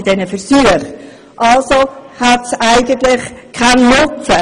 Die Basisstufe hat also eigentlich keinen Nutzen.